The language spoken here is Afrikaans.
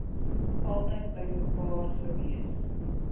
altyd bymekaar gewees